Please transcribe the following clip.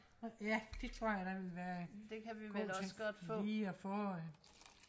det kan vi vel også godt få